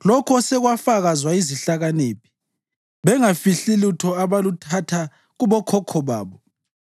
lokho osekwafakazwa yizihlakaniphi, bengafihli lutho abaluthatha kubokhokho babo